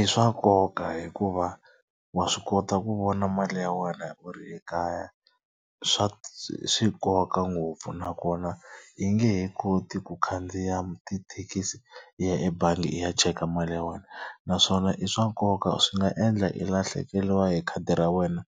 I swa nkoka hikuva wa swi kota ku vona mali ya wena u ri ekaya. swi nkoka ngopfu nakona hi nge he koti ku khandziya tithekisi hi ya ebangi i ya cheka mali ya wena naswona i swa nkoka swi nga endla i lahlekeriwa hi khadi ra wena